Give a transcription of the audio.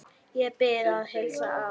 Ég bið að heilsa afa.